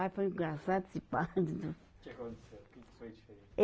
Ai, foi engraçado esse parto. O que aconteceu, o que que foi diferente?